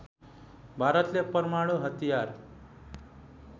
भारतले परमाणु हतियार